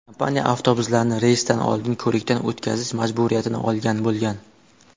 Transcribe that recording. Kompaniya avtobuslarni reysdan oldin ko‘rikdan o‘tkazish majburiyatini olgan bo‘lgan.